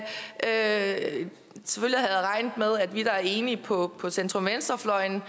jeg at vi der er enige på på centrum venstrefløjen